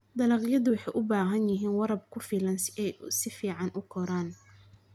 Dalagyadu waxay u baahan yihiin waraab ku filan si ay si fiican u koraan.